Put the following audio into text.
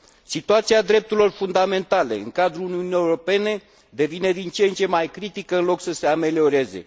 Situația drepturilor fundamentale în cadrul Uniunii Europene devine din ce în ce mai critică în loc să se amelioreze.